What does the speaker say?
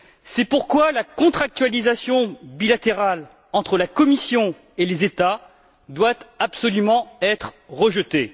C'est pourquoi la contractualisation bilatérale entre la Commission et les États doit absolument être rejetée.